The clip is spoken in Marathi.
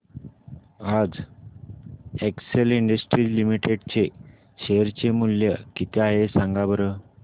आज एक्सेल इंडस्ट्रीज लिमिटेड चे शेअर चे मूल्य किती आहे सांगा बरं